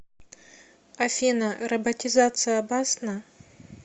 афина роботизация опасна